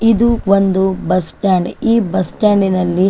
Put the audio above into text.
ಇದು ಒಂದು ಬಸ್ಸ್ಟ್ಯಾಂಡ್ ಈ ಬಸ್ಸ್ಟ್ಯಾಂಡ್ ನಲ್ಲಿ--